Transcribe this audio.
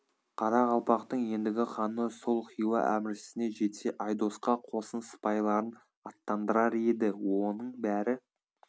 қарақалпақтың ендігі ханы сол хиуа әміршісіне жетсе айдосқа қосын сыпайларын аттандырар еді оның бәрі